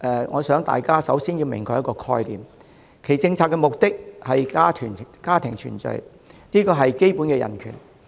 我想大家首先要釐清一個概念，單程證制度的政策目的，是為了家庭團聚，這是基本的人權。